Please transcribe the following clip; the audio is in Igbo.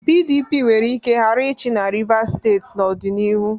PDP nwere ike ghara ịchị na Rivas steeti n'ọdịnihu.